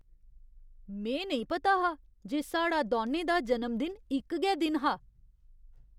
में पता नेईं हा जे साढ़ा दौनें दा जनमदिन इक गै दिन हा!